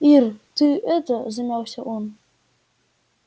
ир ты это замялся он